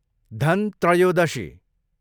Dhan Trayodashi